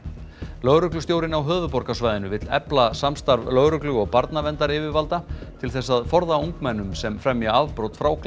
lögreglustjórinn á höfuðborgarsvæðinu vill efla samstarf lögreglu og barnaverndaryfirvalda til þess að forða ungmennum sem fremja afbrot frá